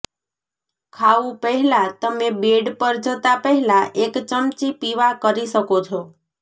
ખાવું પહેલાં તમે બેડ પર જતાં પહેલાં એક ચમચી પીવા કરી શકો છો